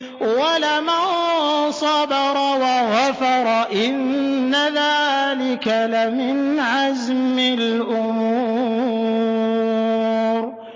وَلَمَن صَبَرَ وَغَفَرَ إِنَّ ذَٰلِكَ لَمِنْ عَزْمِ الْأُمُورِ